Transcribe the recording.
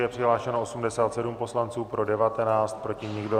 Je přihlášeno 87 poslanců, pro 19, proti nikdo.